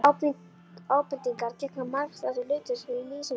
Ábendingar gegna margþættu hlutverki í lýsingu orðanna.